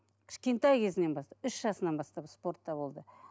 кішкентай кезінен бастап үш жасынан бастап спортта болды